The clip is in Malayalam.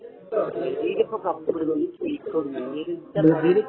ബ്രസീല് ഇപ്പോ കപ്പെടുക്കു ന്നു എനിക്ക് ഒരിക്കലും വെറുതെ പറയാണ്